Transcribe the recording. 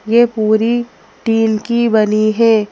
ये पूरी टिन की बनी है।